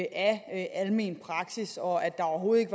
af almen praksis og af at der overhovedet